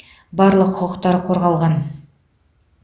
барлық құқықтар қорғалған